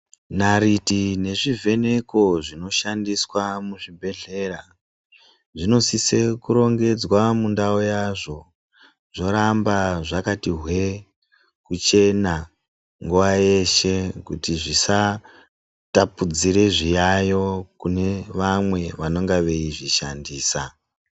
Nariti nezvi vheneko zvino shandiswa muzvi bhedhlera zvinosise kurongedzwa mundau yazvo zvoramba zvakati hwee kuchena nguva yeshe kuti zvisa tapudzire zviyayo kune vamwe vanonga veizvi shandisa.